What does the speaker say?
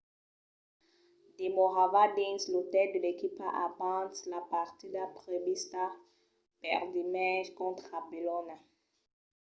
demorava dins l'otèl de l'equipa abans la partida prevista per dimenge contra bolonha